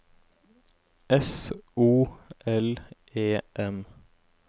S O L E M